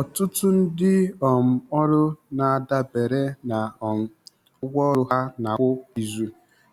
Ọtụtụ ndị um ọrụ na-adabere na um ụgwọ ọrụ ha ana-akwụ kwa izu